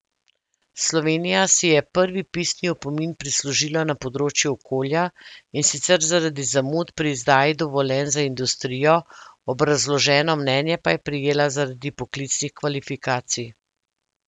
Slovenija si je prvi pisni opomin prislužila na področju okolja, in sicer zaradi zamud pri izdaji dovoljenj za industrijo, obrazloženo mnenje pa je prejela zaradi poklicnih kvalifikacij.